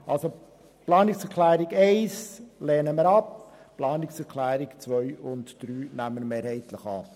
Fazit: Die Planungserklärung 1 lehnen wir ab, die Planungserklärungen 2 und 3 nehmen wir mehrheitlich an.